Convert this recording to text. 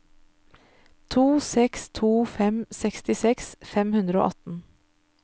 to seks to fem sekstiseks fem hundre og atten